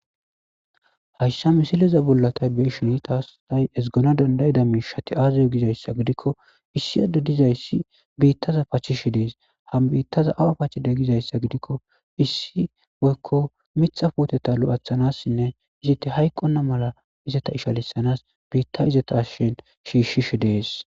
hayssa misileza bollata beshini taastay esgona dandayida miishati aaziyo gizayssa gidikko issiyade dizayssi biittaza pachishi dees ham biittaza awa pachide gizayssa gidikko issi woykko mitha footeta lo7athanassinne izite hayqonna mala izata ishalisanas biitta izata ashshin shiishshishi dees